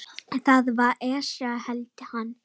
Það var Esjan, hélt hann.